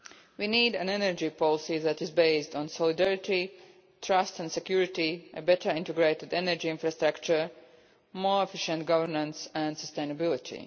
We need an energy policy that is based on solidarity, trust and security, a better integrated energy infrastructure, more efficient governance and sustainability.